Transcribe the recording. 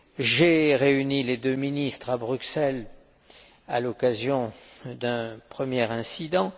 j'ai réuni les deux ministres à Bruxelles à l'occasion d'un premier incident.